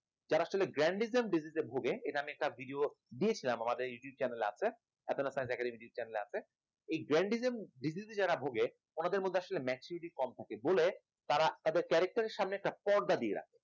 যারা আসলে জ্ঞান randism disease ভোগে এটা আমি একটা video দিয়েছিলাম আমাদের youtube channel এ আছে আপনারা চাইলে এই youtube channel এ এই জ্ঞান randism disease এ যারা ভোগে তাদের মধ্যে আসলে maturity কম থাকে বলে তারা তারা তাদের character র সামনে একটা পর্দা দিয়ে রাখে